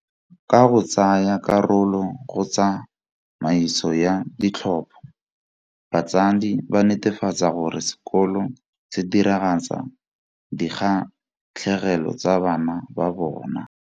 Ka go tsaya karolo go tsa maiso ya ditlhopho, batsadi ba netefatsa gore sekolo se diragatsa dikgatlhegelo tsa bana ba bona.